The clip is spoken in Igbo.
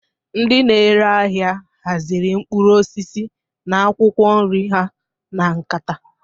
Ndị na-ere ahịa haziri mkpụrụ osisi na akwụkwọ nri ha na nkata.